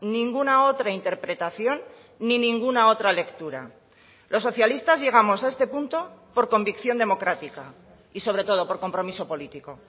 ninguna otra interpretación ni ninguna otra lectura los socialistas llegamos a este punto por convicción democrática y sobre todo por compromiso político